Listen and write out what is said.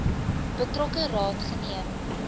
betrokke raad geneem